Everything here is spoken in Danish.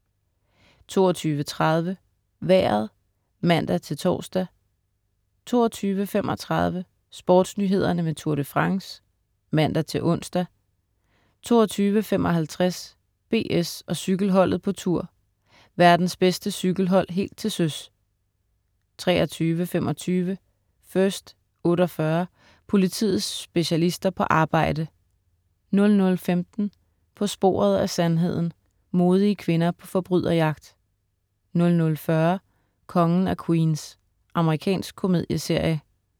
22.30 Vejret (man-tors) 22.35 SportsNyhederne med Tour de France (man-ons) 22.55 BS og cykelholdet på Tour. Verdens bedste cykelhold helt til søs 23.25 First 48. Politiets specialister på arbejde 00.15 På sporet af sandheden. Modige kvinder på forbryderjagt 00.40 Kongen af Queens. Amerikansk komedieserie